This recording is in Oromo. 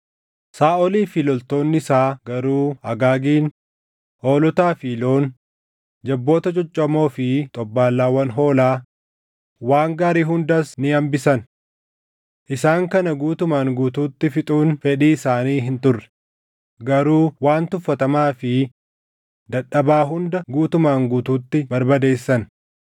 Saaʼolii fi loltoonni isaa garuu Agaagin, hoolotaa fi loon, jabboota coccoomoo fi xobbaallaawwan hoolaa, waan gaarii hundas ni hambisan. Isaan kana guutumaan guutuutti fixuun fedhii isaanii hin turre; garuu waan tuffatamaa fi dadhabaa hunda guutumaan guutuutti barbadeessan.